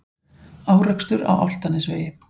Árekstur á Álftanesvegi